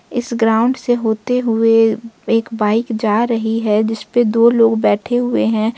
इस ग्राउंड से होते हुए एक बाइक जा रही है जिस पर दो लोग बैठे हुए हैं।